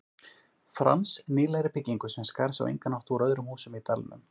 Frans, nýlegri byggingu sem skar sig á engan hátt úr öðrum húsum í dalnum.